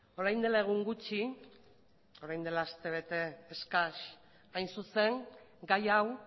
orain dela egun gutxi orain dela aste bete eskas hain zuzen gai hau